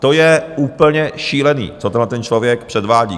To je úplně šílené, co tenhleten člověk předvádí.